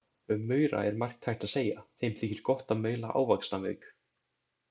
Um maura er margt hægt að segja, þeim þykir gott að maula ávaxtamauk.